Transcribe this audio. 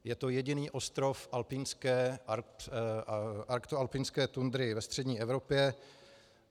Je to jediný ostrov arktoalpinské tundry ve střední Evropě.